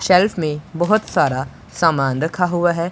Shelf में बहोत सारा सामान रखा हुआ है।